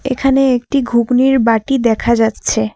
এখানে একটি ঘুগনির বাটি দেখা যাচ্ছে।